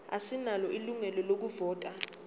asinalo ilungelo lokuvota